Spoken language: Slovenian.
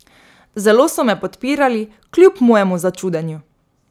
Zelo so me podpirali, kljub mojemu začudenju.